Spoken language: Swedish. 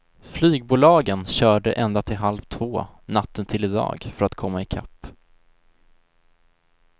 Flygbolagen körde ända till halv två natten till i dag för att komma i kapp.